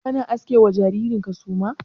Kana aske ma jariran ka suma?